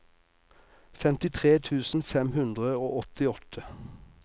femtitre tusen fem hundre og åttiåtte